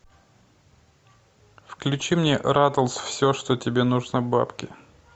включи мне ратлз все что тебе нужно бабки